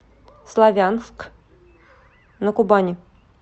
славянск на кубани